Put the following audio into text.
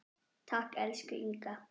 Takk, elsku Inga.